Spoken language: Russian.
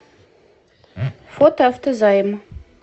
фото автозайм